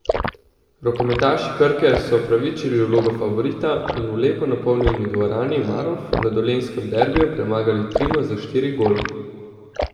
Rokometaši Krke so upravičili vlogo favorita in v lepo napolnjeni dvorani Marof na dolenjskem derbiju premagali Trimo za štiri gole.